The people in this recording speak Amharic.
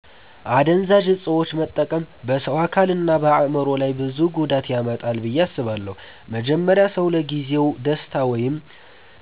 አደንዛዥ እፆችን መጠቀም በሰው አካልና በአእምሮ ላይ ብዙ ጉዳት ያመጣል ብዬ አስባለሁ። መጀመሪያ ሰው